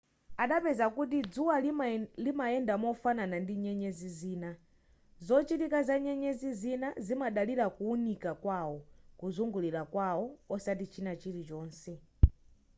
adapeza kuti dzuwa limayenda mofanana ndi nyenyezi zina zochitika za nyenyezi zina zimadalira kuwunika kwawo kuzungulira kwawo osati china chilichonse